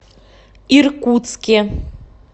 иркутске